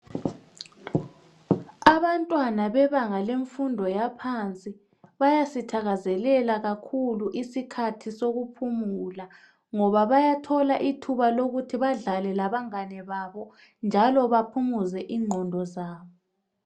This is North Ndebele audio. abantwana bebanga lemfundo yaphansi bayasithakazelela kakhulu isikhathi sokuphumula ngoba bayathola ithuba ukuthi badlale labangane babo njalo baphumuze ingqondo zabo